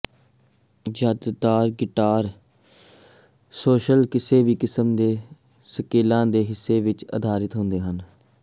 ਜ਼ਿਆਦਾਤਰ guitar solos ਕਿਸੇ ਕਿਸਮ ਦੇ ਸਕੇਲਾਂ ਦੇ ਹਿੱਸੇ ਵਿੱਚ ਅਧਾਰਿਤ ਹੁੰਦੇ ਹਨ